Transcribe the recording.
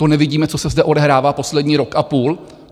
To nevidíme, co se zde odehrává poslední rok a půl?